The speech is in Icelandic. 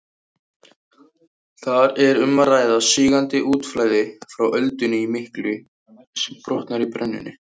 Þar er um að ræða sígandi útflæði frá öldunni miklu sem brotnar í brennunni.